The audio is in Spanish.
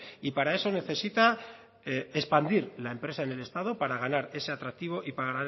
y para eso necesita expandir la empresa en el estado para ganar ese atractivo y para